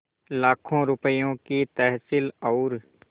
लाखों रुपये की तहसील और